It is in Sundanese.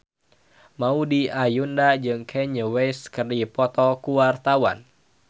Maudy Ayunda jeung Kanye West keur dipoto ku wartawan